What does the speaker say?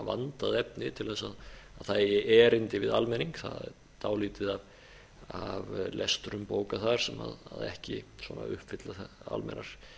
vandað efni til að það eigi erindi við almenning það er dálítið af lestrum bóka sem ekki uppfylla almennar